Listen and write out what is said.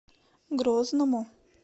грозному